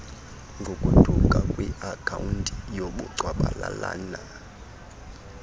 ngokuduka kwiakhawunti yobugcwabalalana